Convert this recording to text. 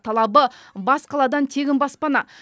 талабы бас қаладан тегін баспана